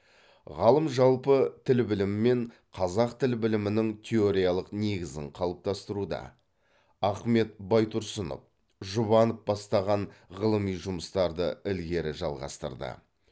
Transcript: ғалым жалпы тіл білімі мен қазақ тіл білімінің теориялық негізін қалыптастыруда ахмет байтұрсынов жұбанов бастаған ғылыми жұмыстарды ілгері жалғастырды